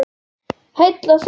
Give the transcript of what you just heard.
Heill og sæll!